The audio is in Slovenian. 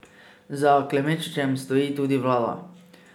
Za Klemenčičem stoji tudi vlada.